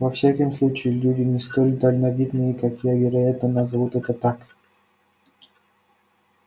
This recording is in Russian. во всяком случае люди не столь дальновидные как я вероятно назовут это так